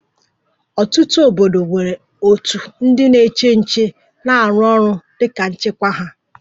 Ọtụtụ obodo nwere òtù ndị na-eche nche na-arụ ọrụ dị ka nchekwa ha